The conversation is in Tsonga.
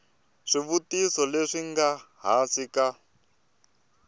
swivutiso leswi nga hansi ka